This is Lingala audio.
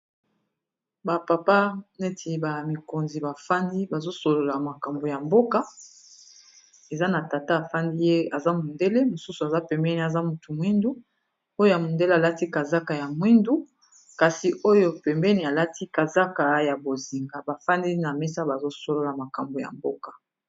ba papa neti ba mikonzi bafandi bazosolola makambo ya mboka eza na tata afandi ye aza mondele mosusu aza pembeni aza motu mwindu oyo ya mondele alati kazaka ya mwindu kasi oyo pembeni alati kazaka ya bozinga bafandi na mesa bazosolola makambo ya mboka